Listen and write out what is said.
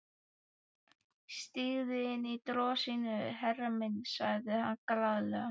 Stígðu inní drossíuna, herra minn, sagði hann glaðlega.